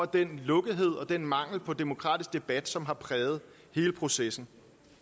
den lukkethed og den mangel på demokratisk debat som har præget hele processen